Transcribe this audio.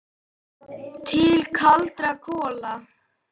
Til kaldra kola.